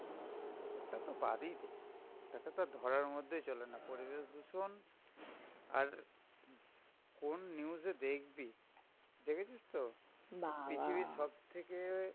ওটা তো বাদই দে, ওইটাকে আর ধরার মধ্যেই চলেনা. পরিবেশ দূষণ আর কোন news এ দেখবি, দেখেছিস তো? পৃথিবীর সবথেকে